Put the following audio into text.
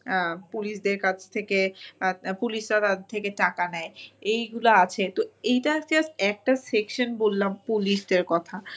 আহ police দের কাছ থেকে police রা তাঁদের থেকে টাকা নেয় এইগুলা আছে তো এইটা just একটা section বললাম police দের কথা